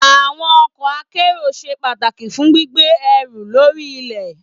Àwọn ọkọ̀ akẹ́rù ṣe pàtàkì fún gbígbé ẹrù lórí ilẹ̀.